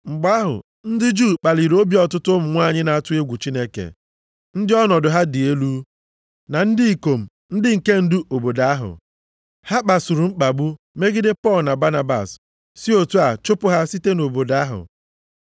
Mgbe ahụ, ndị Juu kpaliri obi ọtụtụ ụmụ nwanyị na-atụ egwu Chineke ndị ọnọdụ ha dị elu, na ndị ikom ndị nke ndu obodo ahụ. Ha kpasuru mkpagbu megide Pọl na Banabas si otu a, chụpụ ha site nʼobodo ahụ.